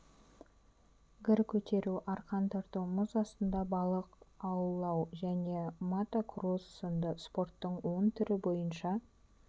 гір көтеру арқан тарту мұз астында балық аулау және мотокросс сынды спорттың он түрі бойынша